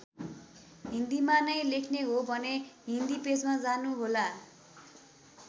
हिन्दीमा नै लेख्ने हो भने हिन्दी पेजमा जानु होला।